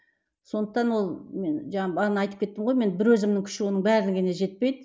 сондықтан ол мен бағана айтып кеттім ғой мен бір өзімнің күші оның барлығына жетпейді